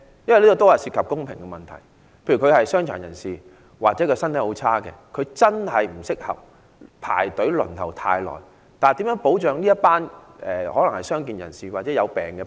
因為這涉及公平問題，例如傷殘人士或身體虛弱的人不適宜長時間排隊輪候，如何保障這群傷健或患病人士？